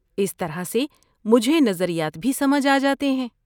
اس طرح سے مجھے نظریات بھی سمجھ آجاتے ہیں۔